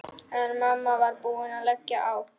En mamma var búin að leggja á.